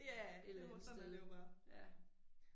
Ja det må sådan er det jo bare